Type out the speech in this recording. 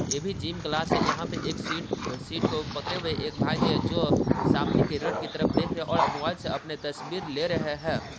ये भी gym class है यहां पर एक सेट - सेट को पकड़े हुए एक भाई जो-जो मोबाइल से अपने तस्वीर ले रहे है।